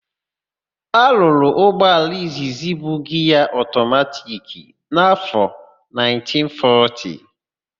A rụrụ ụgbọala izizi bu giaa ọtọmatiki n'áfọ 1940.